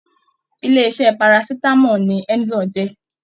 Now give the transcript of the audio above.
Ilé iṣẹ Parasitamọ ni Emzor jẹ.